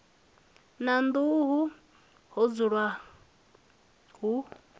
na nḓuhu ho dzulwa hu